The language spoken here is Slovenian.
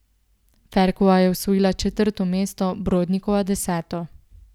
Ferkova je osvojila četrto mesto, Brodnikova deseto.